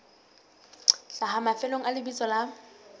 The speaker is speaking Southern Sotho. hlaha mafelong a lebitso la